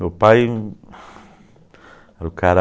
Meu pai era o cara...